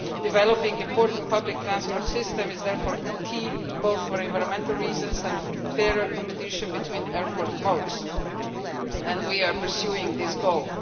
Developing important public transport systems is therefore key, both for environmental reasons and for fairer competition between airport modes, and we are pursuing this goal.